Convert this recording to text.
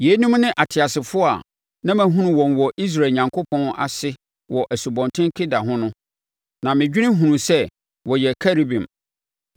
Yeinom ne ateasefoɔ a na mahunu wɔn wɔ Israel Onyankopɔn ase wɔ Asubɔnten Kebar ho no, na medwene hunuiɛ sɛ wɔyɛ Kerubim.